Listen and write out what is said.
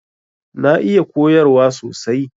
Na iya koyarwa sosai.